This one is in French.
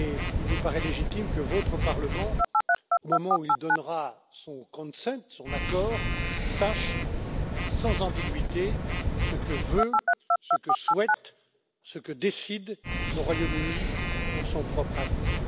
Il nous paraît légitime que votre Parlement, au moment où il donnera son accord, sache sans ambiguïté ce que veut, ce que souhaite, ce que décide le Royaume Uni pour son propre avenir.